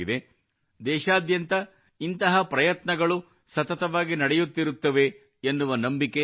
ದೇಶಾದ್ಯಂತ ಇಂತಹ ಟ್ರೆಂಡ್ಸ್ ಸತತವಾಗಿ ನಡೆಯುತ್ತಿರುತ್ತವೆ ಎನ್ನುವ ನಂಬಿಕೆ ನನಗಿದೆ